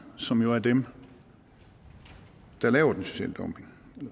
som jo er dem der laver den sociale dumping